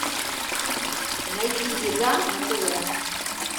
найди еда на тв